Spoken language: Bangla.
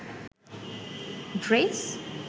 ড্রেস